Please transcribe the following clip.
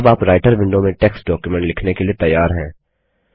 अब आप writer window में टेक्स्ट डॉक्युमेंट लिखने के लिए तैयार हैं